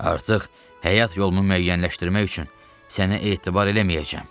"Artıq həyat yolumu müəyyənləşdirmək üçün sənə etibar eləməyəcəm.